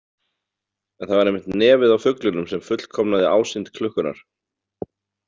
En það var einmitt nefið á fuglinum sem fullkomnaði ásýnd klukkunnar.